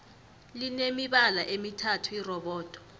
line mibala emithathu irobodo